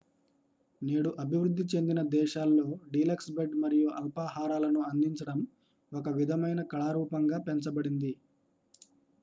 నేడు అభివృద్ధి చెందిన దేశాల్లో డీలక్స్ బెడ్ మరియు అల్పాహారాలను అందించడం ఒక విధమైన కళారూపంగా పెంచబడింది